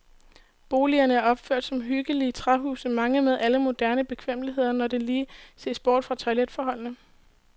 Boligerne er opført som hyggelige træhuse, mange med alle moderne bekvemmeligheder, når der lige ses bort fra toiletforholdene.